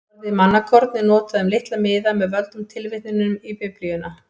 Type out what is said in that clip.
Orðið mannakorn er notað um litla miða með völdum tilvitnunum í Biblíuna.